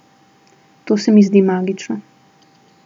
To se mi zdi magično.